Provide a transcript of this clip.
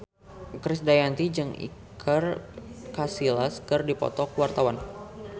Krisdayanti jeung Iker Casillas keur dipoto ku wartawan